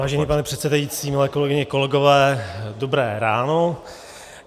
Vážený pane předsedající, milé kolegyně, kolegové, dobré ráno.